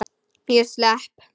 Ég slepp.